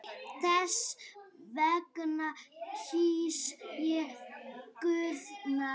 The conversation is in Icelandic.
Þess vegna kýs ég Guðna.